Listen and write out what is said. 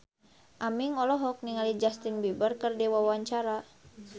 Aming olohok ningali Justin Beiber keur diwawancara